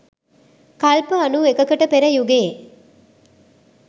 කල්ප අනූ එකකට පෙර යුගයේ